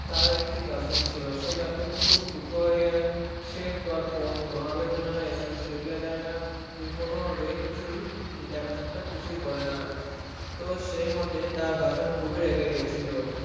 তার একটি girlfriend ছিলো। সেই girlfriend টি খুব ক্ষিপ্ত হয়ে যায় সে তার phone কোনো ভাবে তুলেনা SMS এর reply দেয়না কোনোভাবে কিছুই দেখা সাক্ষাত কিছুই করেনা তো সেই মুহূর্তে তার girlfriend খুবই রেগে গিয়েছিলো